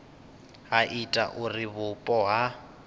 ha ita uri vhupo ha